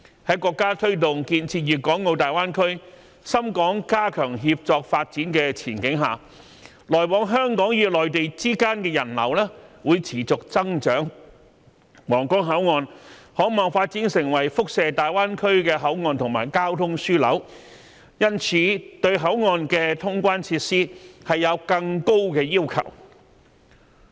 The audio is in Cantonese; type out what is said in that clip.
在國家推動建設粵港澳大灣區、深港加強協作發展的前景下，來往香港與內地之間的人流會持續增長，皇崗口岸可望發展成為輻射大灣區的口岸和交通樞紐，因此對口岸的通關設施有更高的要求。